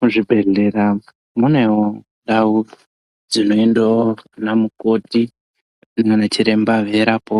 Muzvibhedhlera munewo ndau dzinoende anamukoti naachiremba veindorapa